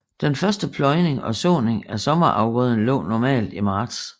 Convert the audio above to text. Den første pløjning og såning af sommerafgrøden lå normalt i marts